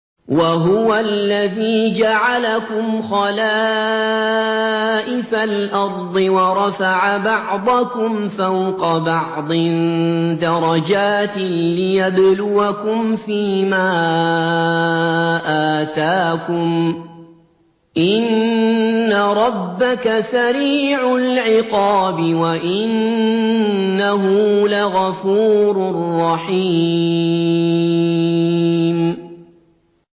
وَهُوَ الَّذِي جَعَلَكُمْ خَلَائِفَ الْأَرْضِ وَرَفَعَ بَعْضَكُمْ فَوْقَ بَعْضٍ دَرَجَاتٍ لِّيَبْلُوَكُمْ فِي مَا آتَاكُمْ ۗ إِنَّ رَبَّكَ سَرِيعُ الْعِقَابِ وَإِنَّهُ لَغَفُورٌ رَّحِيمٌ